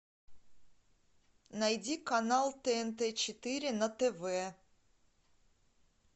найди канал тнт четыре на тв